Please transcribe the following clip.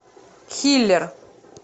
хилер